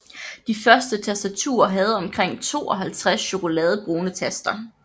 De første tastaturer havde omkring 52 chokoladebrune taster